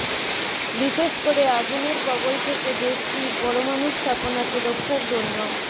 বিশেষ করে আগুনের কবল থেকে দেশটির পরমাণু স্থাপনাকে রক্ষার জন্য